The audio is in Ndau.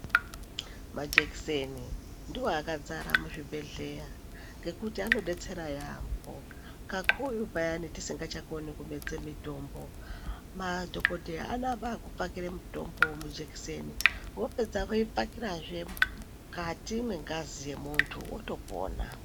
Majekiseni ndiwo akazara muzvibhedhlera ngokuti anodetsera yaambo kakurutu payane tisingachakoni kumedza mitombo. Madhokoteya anotambe kupakira mitombo mujekiseni apedzapo oipakire futi mungazi mevantu otopona.